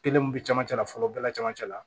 Kelen mun bɛ camancɛ la fɔlɔ bɛɛ la camancɛ la